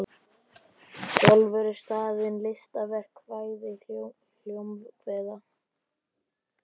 Sjálfur er staðurinn listaverk, kvæði, hljómkviða.